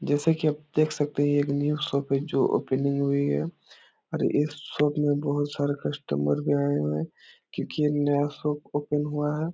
जैसा की आप देख सकतें है ये एक न्यू शॉप है जो ओपनिंग हुई है और इस शॉप में बहुत सारे कस्टमर भी आए हुए हैं क्यूंकि ये नया शॉप ओपन हुआ है।